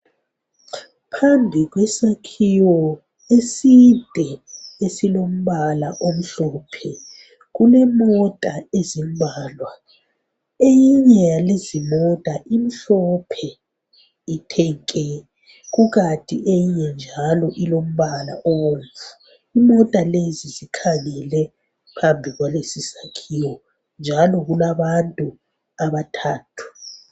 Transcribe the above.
Phambi kwesakhiwo eside esilombala omhlophe kulemota ezimbalwa eyinye yalezimota imhlophe ithe nke kukanti eyinye njalo ilombala obomvu imota lezi zikhangele phambi kwalesi sakhiwo njalo kulabantu abathathu.